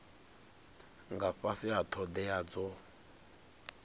nga fhasi ha thodea dzo